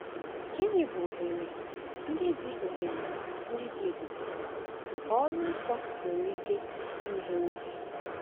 Gịnị bụ ohere ndị dị ohere ndị dị ebube nke ọrụ nsọ nwere ike imegheere gị?